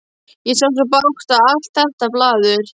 Ég á svo bágt og allt þetta blaður.